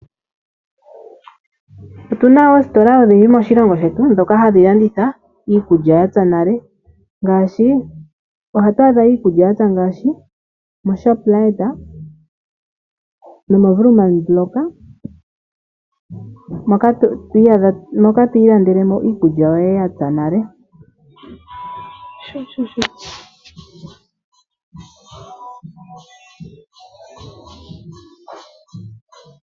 Otuna oositola odhindji moshilongo ndhoka hadhi landitha iikulya yapya nale ngaashi mo Shoprite no Woermann block yapya nale.